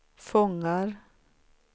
fångar